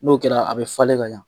N'o kɛra a bɛ falen ka ɲa.